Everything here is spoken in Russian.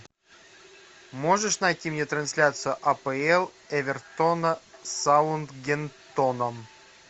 можешь найти мне трансляцию апл эвертона с саутгемптоном